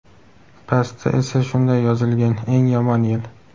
Pastda esa shunday yozilgan: "Eng yomon yil".